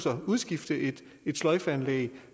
at udskifte et sløjfeanlæg